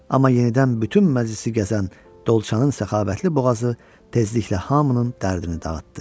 Amma yenidən bütün məclisi gəzən dolçanın səxavətli boğazı tezliklə hamının dərdini dağıtdı.